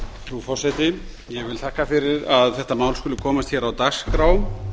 frú forseti ég þakka fyrir að þetta mál skuli komast á dagskrá